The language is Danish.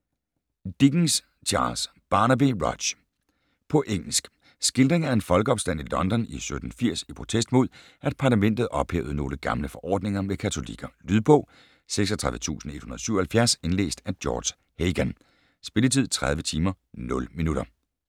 Dickens, Charles: Barnaby Rudge På engelsk. Skildring af en folkeopstand i London i 1780 i protest mod, at parlamentet ophævede nogle gamle forordninger med katolikker. Lydbog 36177 Indlæst af George Hagan Spilletid: 30 timer, 0 minutter